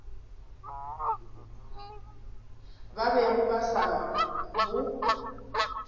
ba bego ba sa bo